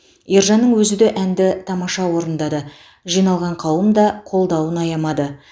ержанның өзі де әнді тамаша орындады жиналған қауым да қолдауын аямады